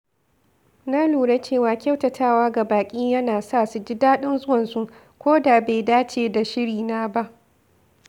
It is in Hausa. Na lura cewa kyautatawa ga baƙi yana sa su jin daɗin zuwansu, ko da bai dace da shirina ba.